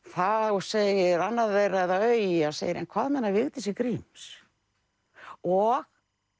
þá segir annað þeirra eða Auja segir en hvað með hana Vigdísi Gríms og